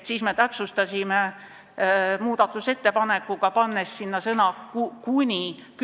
Me täpsustasime seda muudatusettepanekuga, pannes "kümne" ette sõna "kuni".